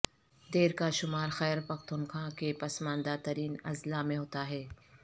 دیر کا شمار خیر پختوانخوا کے پسماندہ ترین اضلاع میں ہوتا ہے